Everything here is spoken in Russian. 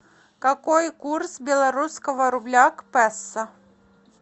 какой курс белорусского рубля к песо